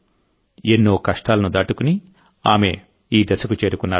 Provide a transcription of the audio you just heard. ఎన్నో కష్టాలను దాటుకుని ఆమె ఈ దశకు చేరుకున్నారు